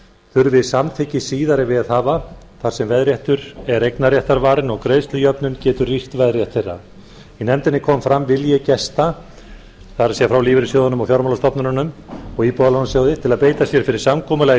þurfi samþykki síðari veðhafa þar sem veðréttur er eignarréttarvarinn og greiðslujöfnun getur rýrt veðrétt þeirra í nefndinni kom fram vilji gesta það er frá lífeyrissjóðunum og fjármálastofnununum og íbúðalánasjóði til að beita sér fyrir samkomulagi